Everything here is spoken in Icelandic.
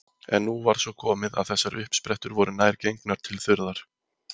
En nú var svo komið að þessar uppsprettur voru nær gengnar til þurrðar.